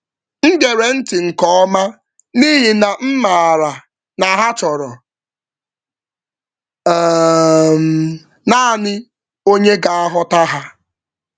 M gere ntị nke ọma n’ihi na m maara na ha chọrọ um naanị onye ga-aghọta ha.